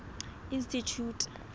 institjhute